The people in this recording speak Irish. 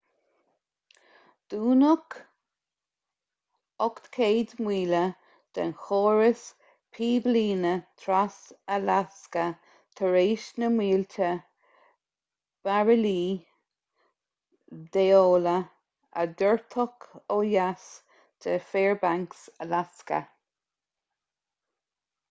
dúnadh 800 míle den chóras píblíne tras-alasca tar éis na mílte bairillí d'amhola a doirteadh ó dheas de fairbanks alasca